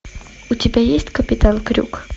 у тебя есть капитан крюк